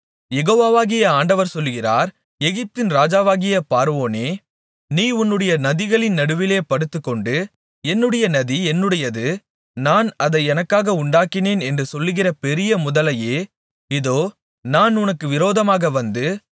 யெகோவாகிய ஆண்டவர் சொல்லுகிறார் எகிப்தின் ராஜாவாகிய பார்வோனே நீ உன்னுடைய நதிகளின் நடுவிலே படுத்துக்கொண்டு என்னுடைய நதி என்னுடையது நான் அதை எனக்காக உண்டாக்கினேன் என்று சொல்லுகிற பெரிய முதலையே இதோ நான் உனக்கு விரோதமாக வந்து